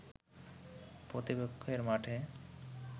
প্রতিপক্ষের মাঠে